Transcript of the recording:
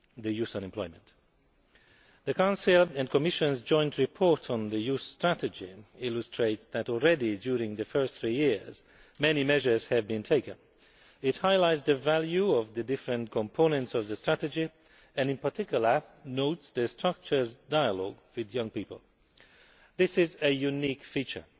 youth unemployment. The Council and Commission's Joint Report on the Youth Strategy illustrates that already during the first three years many measures have been taken. It highlights the value of the different components of the strategy, and in particular notes the structured dialogue with young people. This is a unique feature,